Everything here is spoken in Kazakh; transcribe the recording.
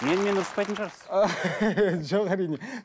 менімен ұрыспайтын шығарсыз жоқ әрине